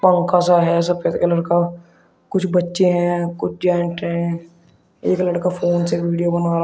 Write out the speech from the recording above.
पंखा सा है सफेद कलर का कुछ बच्चे हैं कुछ जेंट हैं एक लड़का फोन से वीडियो बना--